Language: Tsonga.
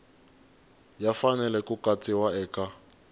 ya fanele ku katsiwa eka